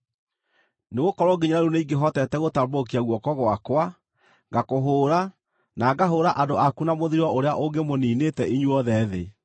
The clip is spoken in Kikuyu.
Nĩgũkorwo nginya rĩu nĩingĩhotete gũtambũrũkia guoko gwakwa, ngakũhũũra na ngahũũra andũ aku na mũthiro ũrĩa ũngĩmũniinĩte inyuothe thĩ.